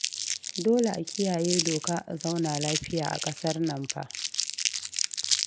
Dole a kiyaye doka a zauna lafiya a ƙasar nan fa